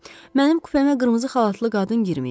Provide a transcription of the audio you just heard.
Mənim kupemə qırmızı xalatlı qadın girməyib.